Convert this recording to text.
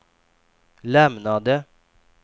lämnade